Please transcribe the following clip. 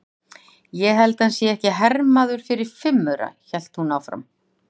Ég held að hann sé ekki hermaður fyrir fimm aura, hélt hún áfram.